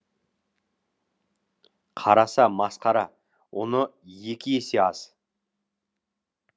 қараса масқара ұны екі есе аз